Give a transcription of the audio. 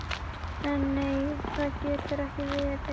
En nei, það getur ekki verið.